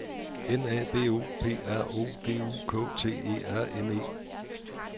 N A B O P R O D U K T E R N E